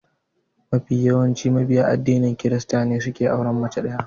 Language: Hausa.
Mafi yawancin mabiya addinin krista ne suke auren mace ɗaya.